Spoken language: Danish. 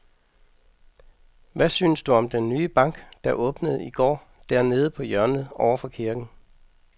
Hvad synes du om den nye bank, der åbnede i går dernede på hjørnet over for kirken?